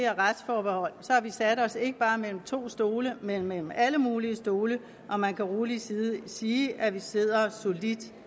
retsforbehold sat os ikke bare mellem to stole men mellem alle mulige stole og man kan rolig sige sige at vi sidder solidt